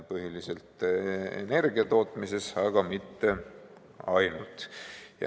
Põhiliselt energia tootmises, aga mitte ainult.